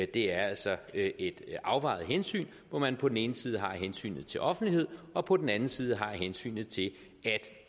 det er altså et afvejet hensyn hvor man på den ene side har hensynet til offentlighed og på den anden side har hensynet til